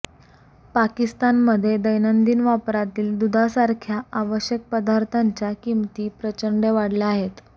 पाकिस्तानमध्ये दैनंदिन वापरातील दुधासारख्या आवश्यक पदार्थांच्या किमती प्रचंड वाढल्या आहेत